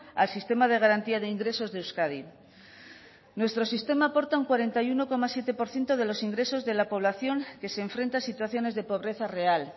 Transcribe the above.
al sistema de garantía de ingresos de euskadi nuestro sistema aporta un cuarenta y uno coma siete por ciento de los ingresos de la población que se enfrenta a situaciones de pobreza real